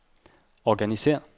organisér